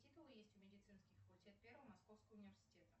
титулы есть у медицинский факультет первого московского университета